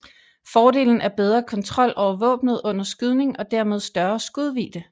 Fordelen er bedre kontrol over våbnet under skydning og dermed større skudvidde